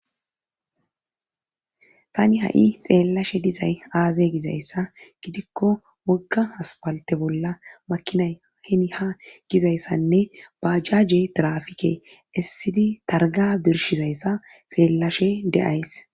tani ha7i xeellashe dizay aaze gizayssa gidikko wogga haspalte bolla makinay heni ha gizayssanne bajjaje tirafike essidi targa birshizayssa xeellashe deays